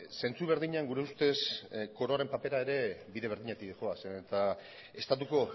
zentzu berdinean gure ustez koroaren papera ere bide berdinatik dihoaz eta estatuko